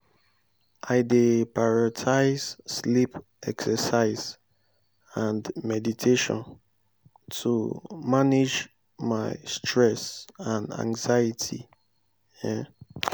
i dey prioritize sleep exercise and meditation to manage my stress and anxiety. um